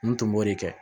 N tun b'o de kɛ